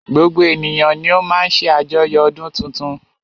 Gbogbo ènìyàn ni o má ń ṣe àjoyo ọdún tuntun.